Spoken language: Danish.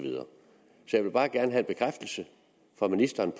jeg vil bare gerne have en bekræftelse fra ministeren